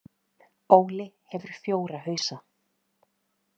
Óli hefur fjóra hausa.